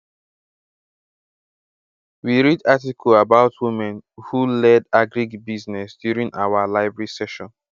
we read article about women who led agric business during our library session